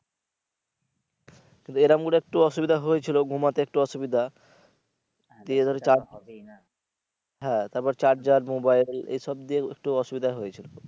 কিন্তু এরকম করে একটু অসুবিধা হয়েছিলো ঘুমাতে একটু অসুবিধা দিয়ে ধরো হ্যা তারপরে charger mobile এসব দিয়ে একটু অসুবিধা হয়েছিলো